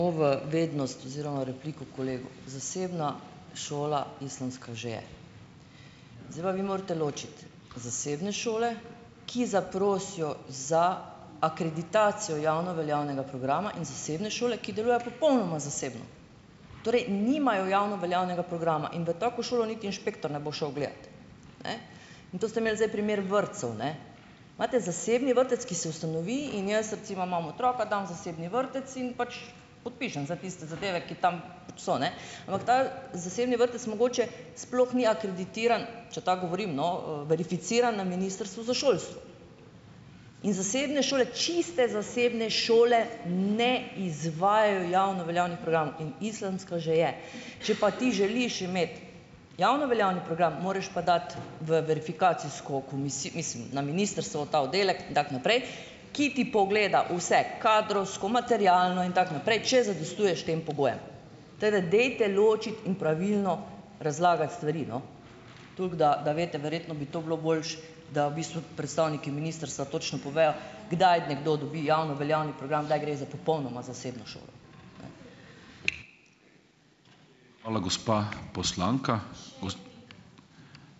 O v vednost oziroma repliko kolegu. Zasebna šola islamska že je. Zdaj pa vi morate ločiti zasebne šole, ki zaprosijo za akreditacijo javno veljavnega programa in zasebne šole, ki delujejo popolnoma zasebno. Torej, nimajo javno veljavnega programa. In v tako šolo niti inšpektor ne bo šel gledat. Ne. In to ste imeli zdaj primer vrtcev, ne. Imate zasebni vrtec, ki se ustanovi, in jaz, recimo, imam otroka, dam v zasebni vrtec in pač podpišem za tiste zadeve, ki tam so, ne. Ampak ta zasebni vrtec mogoče sploh ni akreditiran, če tako govorim, no, verificiran na Ministrstvu za šolstvo. In zasebne šole, čiste zasebne šole ne izvajajo javno veljavnih programov. In islamska že je. Če pa ti želiš imeti javno veljavni program, moraš pa dati v verifikacijsko mislim, na ministrstvo v ta oddelek in tako naprej, ki ti pogleda vse, kadrovsko, materialno in tako naprej, če zadostuješ tem pogojem. Tako da dajte ločiti in pravilno razlagati stvari, no, toliko, da da veste. Verjetno bi to bilo boljše, da v bistvu predstavniki ministrstva točno povejo, kdaj nekdo dobi javno veljavni program, kdaj gre za popolnoma zasebno šolo.